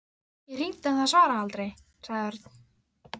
Ég hringdi en það svaraði aldrei. sagði Örn.